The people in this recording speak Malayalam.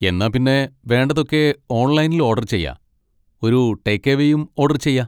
എന്നാ പിന്നെ വേണ്ടതൊക്കെ ഓൺലൈനിൽ ഓഡർ ചെയ്യാ, ഒരു ടേക്ക് എവേയും ഓഡർ ചെയ്യാ.